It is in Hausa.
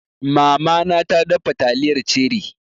Mama na ta dafa taliyar ceri